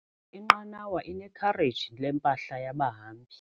Inqanawa inekhareji lempahla yabahambi.